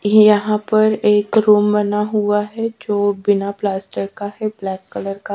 ये यहा पर एक रूम बना हुआ है जो बिना प्लास्टर का है ब्लैक कलर का --